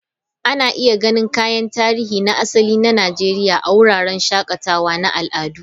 Ana iya ganin kayan tarihi na asali na Najeriya a wuraren shakatawa na al'adu.